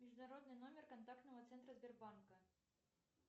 международный номер контактного центра сбербанка